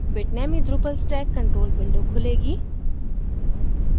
bitnami drupal stack control window खुलेगी